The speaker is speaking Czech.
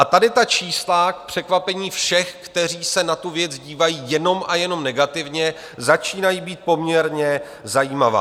A tady ta čísla k překvapení všech, kteří se na tu věc dívají jenom a jenom negativně, začínají být poměrně zajímavá.